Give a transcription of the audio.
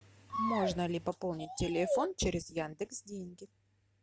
можно ли пополнить телефон через яндекс деньги